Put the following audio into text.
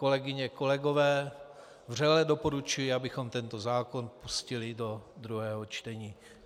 Kolegyně, kolegové, vřele doporučuji, abychom tento zákon pustili do druhého čtení.